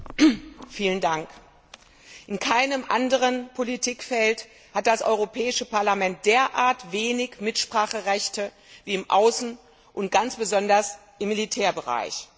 Herr Präsident! In keinem anderen Politikfeld hat das Europäische Parlament derart wenig Mitspracherechte wie im Außen und ganz besonders im Militärbereich.